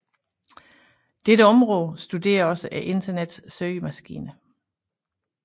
Dette område studerer også Internettets søgemaskiner